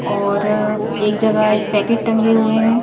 और एक जगह एक पैकेट टंगे हुए हैं।